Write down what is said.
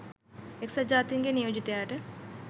එක්සත් ජාතීන්ගේ නියෝජිතයාට